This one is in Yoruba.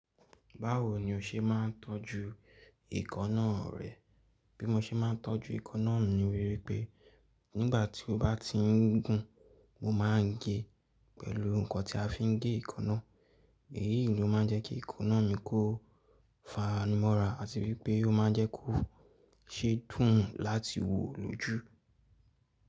Báwo ni o ṣe máà ń tọ́jú ekanna rẹ? Bí mo ṣe máà ń tọ́jú ekanna mi ni wípé nígbà tí o bá ti ń gùn mo maà ń gé pẹ̀lú nǹkan tí a fi ń gé ekaná, èyí ló máa ń jẹ́ kí ekanna mi kó fani mọ́ra àti wípé ó ma ń jẹ́ kó ṣe dùn láti wò lójú.